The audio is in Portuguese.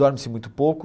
Dorme-se muito pouco.